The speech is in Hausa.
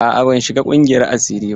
A'a, ban shiga ƙungiyar asiri ba.